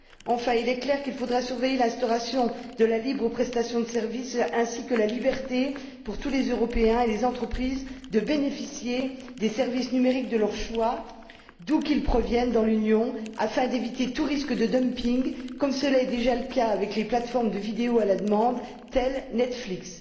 Enfin, il est clair qu'il faudra surveiller l'instauration de la libre prestation de services ainsi que la liberté, pour tous les Européens et les entreprises, de bénéficier des services numériques de leur choix, d'où qu'ils proviennent dans l'Union, afin d'éviter tout risque de dumping, comme cela est déjà le cas avec les plateformes de vidéos à la demande, telles que Netflix.